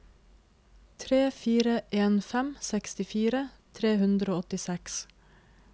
tre fire en fem sekstifire tre hundre og åttiseks